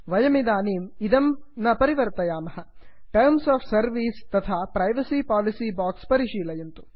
वयमिदानीमिदं न परिवर्तयामः terms of service terms of service तथा privacy policy privacy policy box परिशीलयन्तु